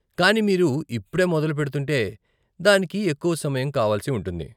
కానీ మీరు ఇప్పుడే మొదలు పెడుతుంటే, దానికి ఎక్కువ సమయం కావలసి ఉంటుంది.